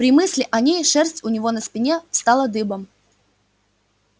при мысли о ней шерсть у него на спине встала дыбом